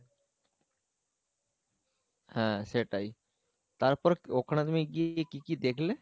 হ্যাঁ সেটাই তারপর ওখানে তুমি কি গিয়ে কি কি দেখলে?